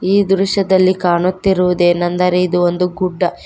ಈ ದೃಶ್ಯದಲ್ಲಿ ಕಾಣುತ್ತಿರುವುದು ಏನೆಂದರೆ ಇದು ಒಂದು ಗುಡ್ಡ--